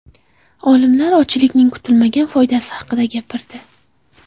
Olimlar ochlikning kutilmagan foydasi haqida gapirdi.